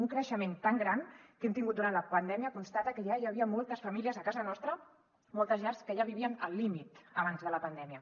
un creixement tan gran que hem tingut durant la pandèmia constata que ja hi havia moltes famílies a casa nostra moltes llars que ja vivien al límit abans de la pandèmia